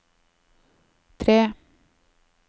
tre